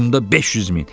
Batumda 500 min.